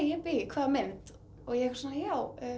jibbý hvaða mynd og ég svona já